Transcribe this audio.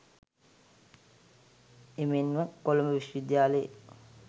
එමෙන්ම කොළඹ විශ්වවිද්‍යාලයේ